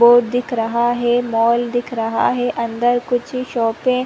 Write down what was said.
board दिख रहा है मॉल दिख रहा है अंदर कुछ शॉपे --